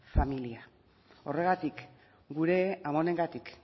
familia horregatik gure amonengatik